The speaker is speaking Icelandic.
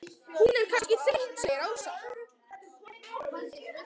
Hún er kannski þreytt segir Ása.